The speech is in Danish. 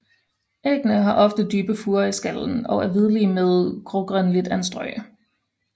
Æggene har ofte dybe furer i skallen og er hvidlige med grågrønligt anstrøg